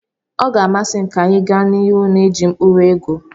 Ọ ga-amasị m ka anyị gaa n'ihu na-eji mkpụrụ ego.